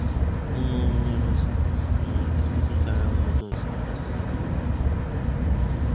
খাওয়ার স্বাস্থ্যে স্বাস্থ্য খাতে যেমন উন্নয়ন হয়েছে. মানে কিছু কিছু জায়গায় উন্নত হয়েছে. স্বাস্থ্য খাত এ